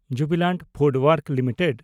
Jubilant FoodWorks limited